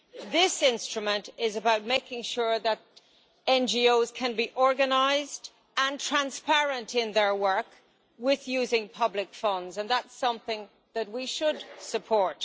This instrument is about making sure that NGOs can be organised and transparent in their work with the use of public funds that is something that we should support.